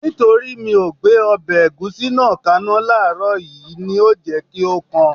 Nítorí mi ò gbé ọbẹ̀ ẹ̀gúsí náà kaná láàrọ̀ yìí ni ó jẹ́ kí ó kan